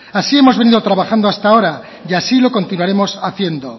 así hemos venido trabajando hasta ahora y así lo continuaremos haciendo